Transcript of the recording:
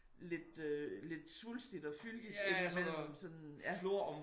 Lidt øh lidt svulstigt og fyldigt ik men sådan ja